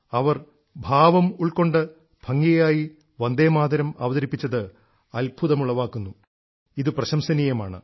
അവർ ഭാവം ഉൾക്കൊണ്ട് ഭംഗിയായി വന്ദേമാതരം അവതരിപ്പിച്ചത് അത്ഭുമുളവാക്കുന്നു ഇതു പ്രശംസനീയമാണ്